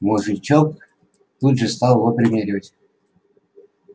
мужичок тут же стал его примеривать